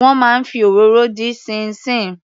Wọ́n máa ń fi òróró dín ṣíín ṣiìn.